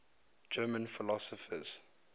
german philosophers